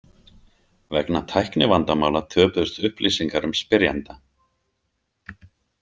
Vegna tæknivandamála töpuðust upplýsingar um spyrjanda.